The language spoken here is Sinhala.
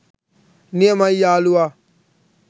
නියමයි යාලුවා